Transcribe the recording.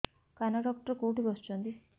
କାନ ଡକ୍ଟର କୋଉଠି ବସୁଛନ୍ତି